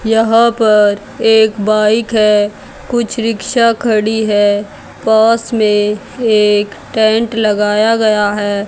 यहां पर एक बाइक है कुछ रिक्शा खड़ी है पास में एक टेंट लगाया गया है।